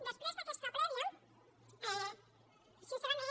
després d’aquesta prèvia sincerament